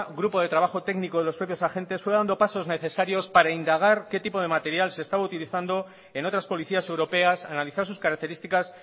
grupo de trabajo técnico de los propios agentes fue dando pasos necesarios para indagar qué tipo de material se estaba utilizando en otras policías europeas analizar sus características